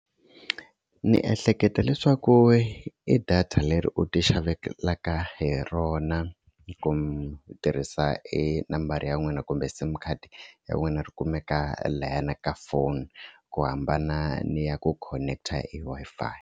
Ni ehleketa leswaku i data leri u ti xavelaka hi rona ku tirhisa e nambara ya n'wina kumbe sim card ya n'wina ri kumeka layani ka phone ku hambana ni ya ku khoneketa e Wi-Fi.